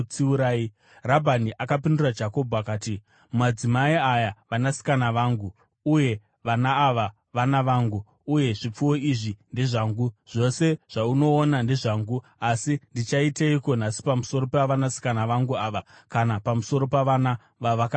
Rabhani akapindura Jakobho akati, “Madzimai aya vanasikana vangu, uye vana ava vana vangu, uye zvipfuwo izvi ndezvangu. Zvose zvaunoona ndezvangu. Asi ndichaiteiko nhasi pamusoro pavanasikana vangu ava, kana pamusoro pavana vavakabereka?